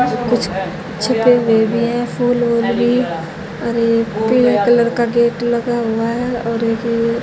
कुछ छिपे हुए भी हैं फूल वूल भी और एक पिंक कलर का गेट लगा हुआ है और एक ये--